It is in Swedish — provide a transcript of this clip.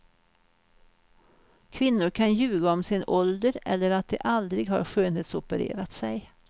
Kvinnor kan ljuga om sin ålder eller att de aldrig har skönhetsopererat sig.